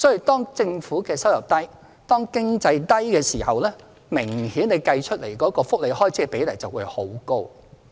當政府收入低，經濟亦低迷時，計算出來的福利開支的比例明顯便會很高。